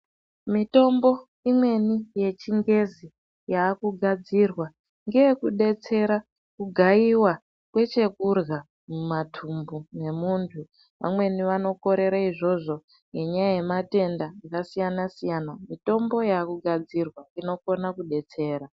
Mitombo imweni yechingezi yakugadzirwa ngeyekudetsera pakugaiva kwechekurya mumathumbu memuntu. Vamweni vanokorere izvozvo ngenyaya yematenda akasiyana-siyana, mitombo yakugadzirwa inokona kudetsera.